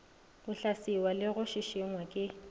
hlaswiwa le go šišingwa ke